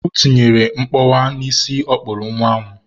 O tinyere mkpọwa n'isi ọ kpụrụ nwa m.